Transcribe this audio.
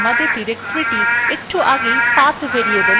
যেমন আমরা আমাদের ডিরেক্টরীটি একটু আগেই path variable we যোগ করেছিলাম